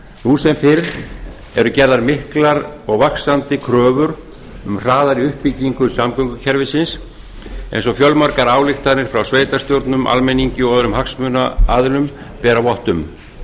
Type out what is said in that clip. nú sem fyrr eru gerðar miklar og vaxandi kröfur um hraðari uppbyggingu samgöngukerfisins eins og fjölmargar ályktanir frá sveitarstjórnum almenningi og öðrum hagsmunaaðilum bera vott um